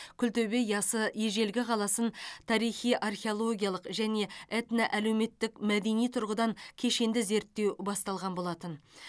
күлтөбе ясы ежелгі қаласын тарихи археологиялық және этноәлеуметтік мәдени тұрғыдан кешенді зерттеу басталған болатын